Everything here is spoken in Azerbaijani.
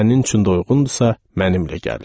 Sənin üçün də uyğundursa, mənimlə gəl.